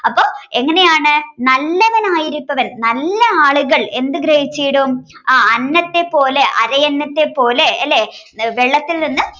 അപ്പൊ എങ്ങനെയാണ് നല്ലവനായിരിപ്പവൻ നല്ല ആളുകൾ എന്ത് ഗ്രഹിച്ചീടും ആഹ് അന്നത്തെ പോലെ അരയന്നത്തെ പോലെ അല്ലെ വെള്ളത്തിൽ നിന്ന്